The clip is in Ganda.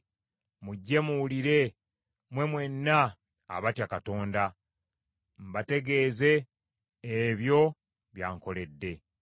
Mujje muwulire, mmwe mwenna abatya Katonda, mbategeeze ebyo by’ankoledde.